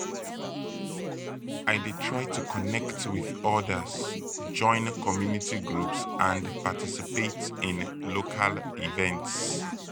i dey try to connect with odas join community groups and participate in local events.